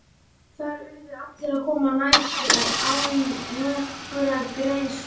Þar urðu allir að koma nærri og án nokkurrar greiðslu.